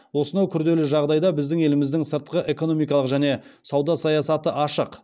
осынау күрделі жағдайда біздің еліміздің сыртқыэкономикалық және сауда саясаты ашық